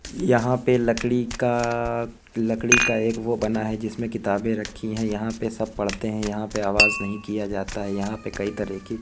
यहाँ पर लकड़ी का लकड़ी का एक वो बना है जिसमें किताबें रखी हैं यहाँ पर सब पढ़ते हैं। यहाँ पर आवाज नहीं किया जाता है। यहाँ पर कई तरह की --